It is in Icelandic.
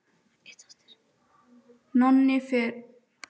Nonni fór með okkur.